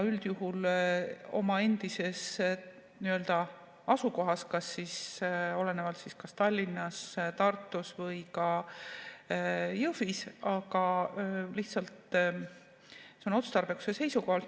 Üldjuhul oma endises nii-öelda asukohas, kas siis Tallinnas, Tartus või ka Jõhvis, see on otstarbekuse seisukohalt.